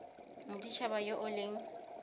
modit haba yo o leng